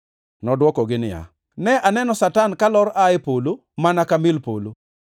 Nodwoko niya, “Ne aneno Satan kalor aa e polo mana ka mil polo.